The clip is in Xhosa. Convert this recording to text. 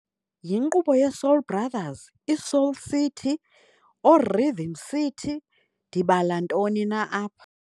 Yinkqubo yeSoul Brothers, iSoul City, ooRhythm City, ndibala ntoni na apha?